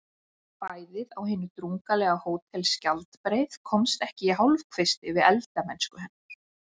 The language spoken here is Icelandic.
Fæðið á hinu drungalega Hótel Skjaldbreið komst ekki í hálfkvisti við eldamennsku hennar.